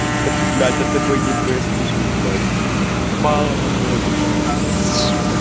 таки блять это б и б слышишь блядь ебало на ноль сука